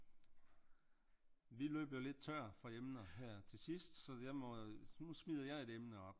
Vi er løbet lidt tør for emner her til sidst så jeg må nu smider jeg et emne op